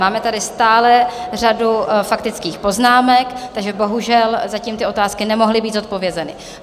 Máme tady stále řadu faktických poznámek, takže bohužel zatím ty otázky nemohly být zodpovězeny.